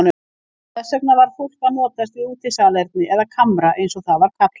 Þess vegna varð fólk að notast við útisalerni eða kamra eins og það var kallað.